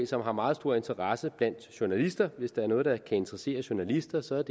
som har meget stor interesse blandt journalister og hvis der er noget der kan interessere journalister så er